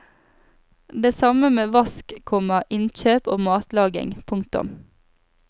Det samme med vask, komma innkjøp og matlaging. punktum